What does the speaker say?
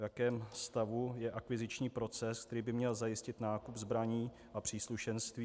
V jakém stavu je akviziční proces, který by měl zajistit nákup zbraní a příslušenství?